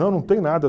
Não, não tem nada.